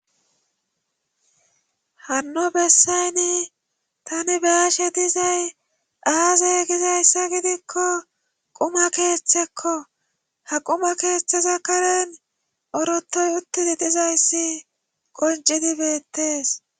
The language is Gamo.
Hanno bessaynni tani baashe dizay aazey gizayssa gidikko quma keeththekko ha quma keethetheza karen orotoy uttidi dizayssi qoncidibeettees.